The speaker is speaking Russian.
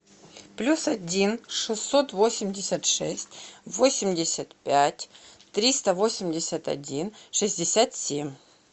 плюс один шестьсот восемьдесят шесть восемьдесят пять триста восемьдесят один шестьдесят семь